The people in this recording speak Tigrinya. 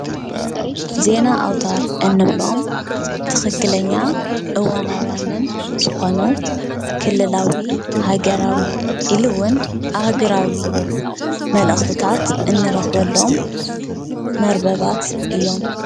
ዜና ኣውታር እንብሎም ትኽክለኛ እዋናውያንን ዝኾኑ ክልላዊ ሃገራዊ ኢሉ ውን ኣህጉራዊ መልእኽትታት እንረኽበሎም መርበባት እዮም፡፡